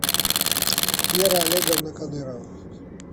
вера олеговна кадырова